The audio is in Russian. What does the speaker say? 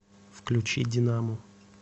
включи динаму